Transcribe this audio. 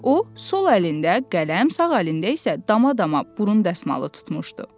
O, sol əlində qələm, sağ əlində isə dama-dama burun dəsmalı tutmuşdu.